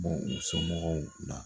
bɔ u somɔgɔw la.